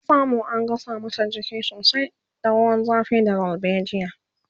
ta samu an gasa mata jiki sosai da ruwan zafi da dalbejia